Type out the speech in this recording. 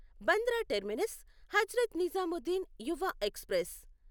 Bandra terminus Hazrat Nizamuddin Yuva express